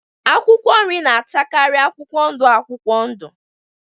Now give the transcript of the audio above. Akwụkwọ nri na-achakari akwụkwọ ndụ akwụkwọ udụ.